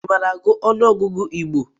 I maara agụ ọnụọgụgụ Igbo?